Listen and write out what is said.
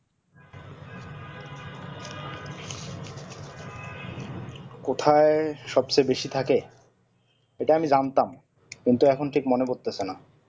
কোথায় সব চেয়ে বেশি থাকে এটা আমি জানতাম কিন্তু এখন ঠিক মনে পড়তেসে না